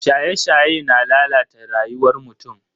Shaye-shaye na lalata rayuwar mutum.